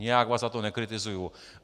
Nijak vás za to nekritizuji.